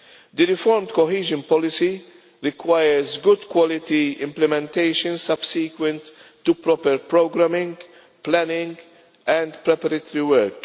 The reformed cohesion policy requires good quality implementation subsequent to proper programming, planning and preparatory work.